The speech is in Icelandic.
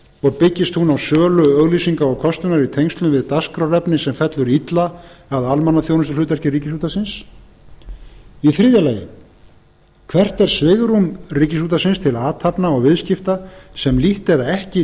og byggist hún á sölu auglýsinga og kostunar í tengslum við dagskrárefni sem fellur illa að almannaþjónustuhlutverki ríkisútvarpsins þriðja hvert er svigrúm ríkisútvarpsins til athafna og viðskipta sem lítt eða ekki